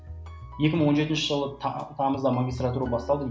екі мың он жетінші жылы тамызда магистратура басталды